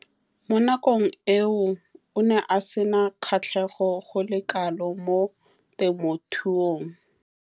Mo nakong eo o ne a sena kgatlhego go le kalo mo temothuong.